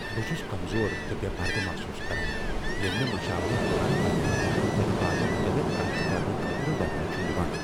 بہٕ چھس کمزور تہٕ بے٘ پردٕ محسوس کران ییٚلہ مےٚ مشاورس دوران پنٛنٮ۪ن پٔتمٮ۪ن تجرباتن متعلق کتھ کرنہٕ خٲطرٕ ونٛنہٕ چھٗ یوان۔